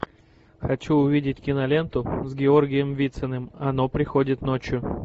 хочу увидеть киноленту с георгием вициным оно приходит ночью